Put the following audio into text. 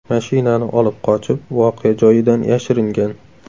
mashinani olib qochib, voqea joyidan yashiringan.